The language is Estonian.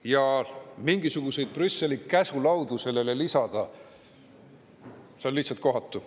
Ja mingisuguseid Brüsseli käsulaudu sellele lisada on lihtsalt kohatu.